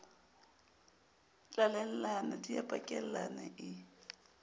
tlalellana di a pakellana e